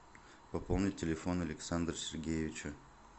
пополнить телефон александра сергеевича